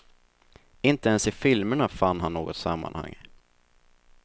Inte ens i filmerna fann han något sammanhang.